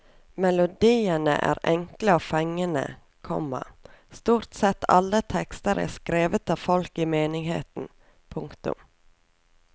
Melodiene er enkle og fengende, komma stort sett alle tekster er skrevet av folk i menigheten. punktum